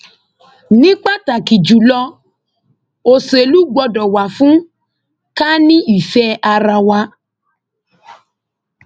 ní pàtàkì jù lọ òṣèlú gbọdọ wà fún ká ní ìfẹ ara wa